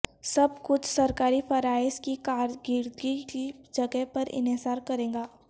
سب کچھ سرکاری فرائض کی کارکردگی کی جگہ پر انحصار کرے گا